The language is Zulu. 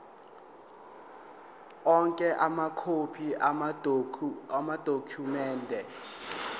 onke amakhophi amadokhumende